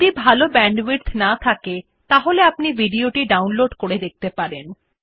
যদি ভাল ব্যান্ডউইডথ না থাকে তাহলে আপনি ভিডিও টি ডাউনলোড করে দেখতে পারেন